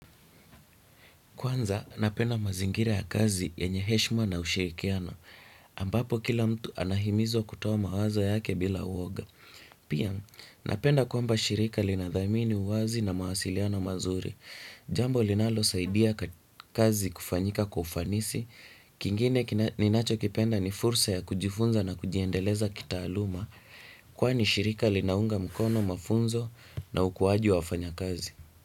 Kwanza, napenda mazingira ya kazi yenye heshima na ushirikiano, ambapo kila mtu anahimizwa kutoa mawazo yake bila uoga. Pia, napenda kwamba shirika linathamini uwazi na mawasiliano mazuri. Jambo linalosaidia kazi kufanyika kwa ufanisi kingine ninachokipenda ni fursa ya kujifunza na kujiendeleza kitaaluma kwani shirika linaunga mkono mafunzo na ukuwaji wa wafanyikazi.